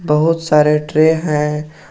बहुत सारे ट्रे हैं।